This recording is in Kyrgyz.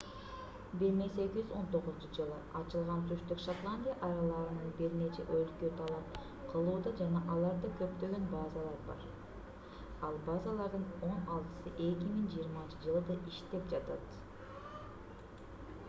1819-жылы ачылган түштүк шотландия аралдарын бир нече өлкө талап кылууда жана аларда көптөгөн базалар бар ал базалардын он алтысы 2020-жылы да иштеп жатат